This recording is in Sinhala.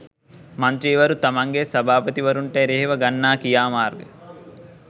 මන්ත්‍රීවරු තමන්ගේ සභාපතිවරුන්ට එරෙහිව ගන්නා ක්‍රියාමාර්ග